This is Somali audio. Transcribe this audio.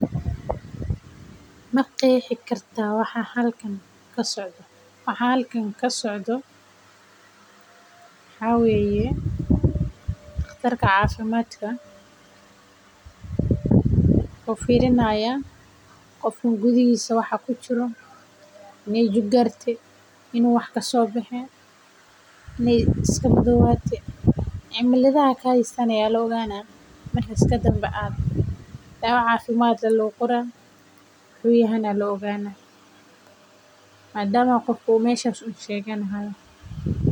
Ma qeexi kartaa waxa halkan kasocdo waxa halkan kasocdo waxa waye daqtarka cafimaadka oo fiiri haayo qofka gudahiisa waxa kujiro inay jug gaarte inuu xanuunsan yahay kadib ayaa daawa loo qoraa saas waye.